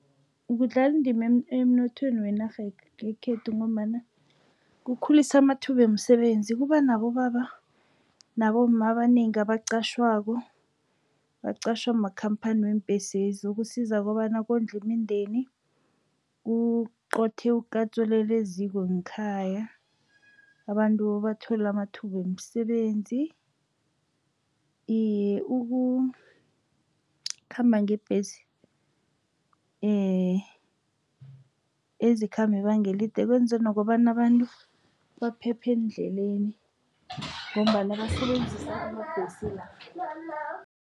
Kudlala indima emnothweni wenarha yekhethu, ngombana kukhulisa amathuba wemisebenzi. Kuba nabobaba, nabomma abanengi abaqatjhwako, baqatjhwa makhamphani weembhesi lezi. Kusiza kobana kondle imindeni kuqothe ukatsu olele eziko ngekhaya, abantu bathole amathuba wemisebenzi. Iye, ukukhamba ngebhesi ezikhamba ibanga elide kwenze nokobana abantu baphephe eendleleni, ngombana basebenzisa amabhesi